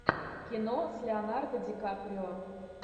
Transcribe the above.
кино с леонардо дикаприо